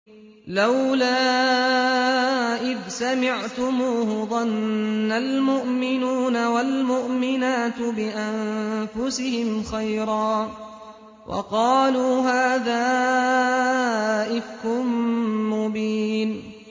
لَّوْلَا إِذْ سَمِعْتُمُوهُ ظَنَّ الْمُؤْمِنُونَ وَالْمُؤْمِنَاتُ بِأَنفُسِهِمْ خَيْرًا وَقَالُوا هَٰذَا إِفْكٌ مُّبِينٌ